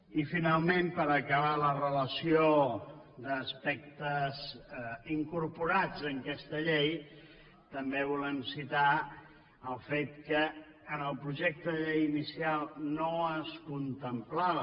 i finalment per acabar la relació d’aspectes incorporats en aquesta llei també volem citar el fet que en el projecte de llei inicial no es contemplava